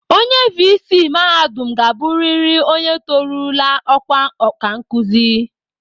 Onye viisii mahadum ga-abụrịrị onye torurula ọkwa ọkankụzi